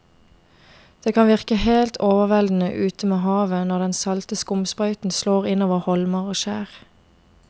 Det kan virke helt overveldende ute ved havet når den salte skumsprøyten slår innover holmer og skjær.